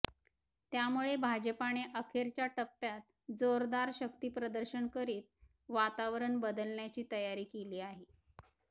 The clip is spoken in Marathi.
त्यामुळे भाजपाने अखेरच्या टप्प्यात जोरदार शक्तीप्रदर्शन करीत वातावरण बदलण्याची तयारी केली आहे